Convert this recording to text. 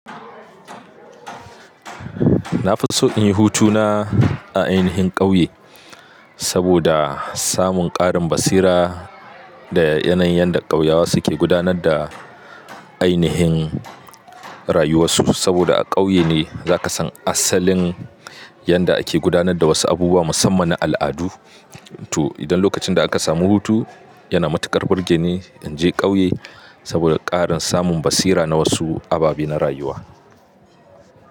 Na fi so in yi hutu na a ainihin ƙauye saboda samun ƙarin basira da yanayin yadda ƙauyawa suke gudanar da ainihin rayuwar su. Saboda a ƙauye ne za ka san asalin yanda ake gudanar da wasu abubuwa musamman na al'adu. To idan lokacin da aka samu hutu yana matuƙar burge ni in je ƙauye saboda ƙarin samun basira na wasu ababe na rayuwa.